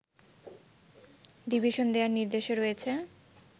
division দেয়ার নির্দেশও রয়েছে